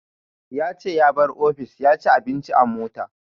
Ya ce ya bar office ya ci abinci a mota